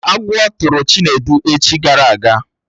Agwọ tụrụ Chinedu echi gara aga